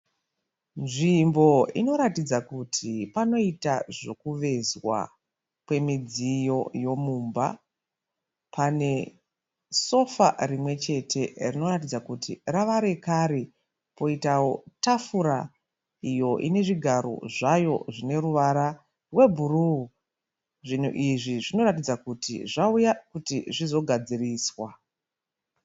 Nzvimbo inoratidza kuti panoitwa zvekuvezwa kwemidziyo yemumba. Pane sofa rimwe chete rinoratidza kuti rava yakare poitawo tafura iyo inezvigaro zvayo zvineruvara rwebhuruu. Zvinhu izvi zvinoratidza kuti zvauya kuti zvizogadziriswa.